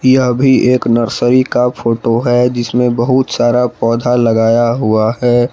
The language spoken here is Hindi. यह भी एक नर्सरी का फोटो है जिसमें बहुत सारा पौधा लगाया हुआ है।